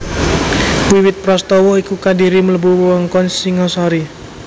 Wiwit prastawa iku Kadiri mlebu wewengkon Singhasari